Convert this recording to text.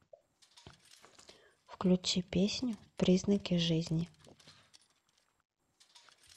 включи песню признаки жизни